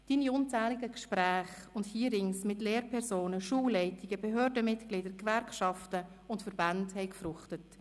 Seine unzähligen Gespräche und Hearings mit Lehrpersonen, Schulleitungen, Behördenmitgliedern, Gewerkschaften und Verbänden haben gefruchtet.